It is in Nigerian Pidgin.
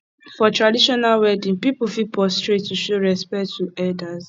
for traditional wedding pipo fit prostrate to show respect to elders